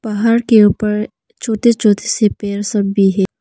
पहाड़ के ऊपर छोटे छोटे से पेड़ सब भी हैं।